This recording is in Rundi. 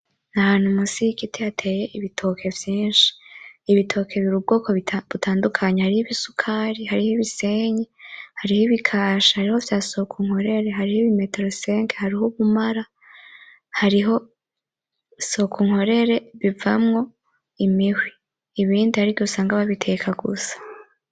Ni ahantu musi y’igiti hateye ibitoke vyinshi , ibitoke biri ubwoko butandukanye hariho ibisukari, hariho ibisenyi, hariho ibikashi, hariho ivya sokunkorere hariho ibimetero 5, hariho ubumaramasenge , hariho sokunkorere bivamwo imihwi, ibindi harigihe usanga babiteka gusa.